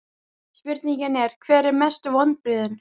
Spurningin er: Hver eru mestu vonbrigðin?